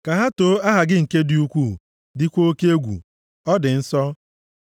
Ka ha too aha gị nke dị ukwuu, dịkwa oke egwu, ọ dị nsọ.